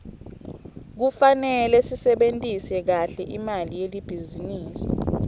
kufarele sisebentise kahle imali yelibhizinisi